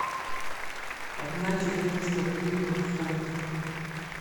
одна четыреста гривен в фунтах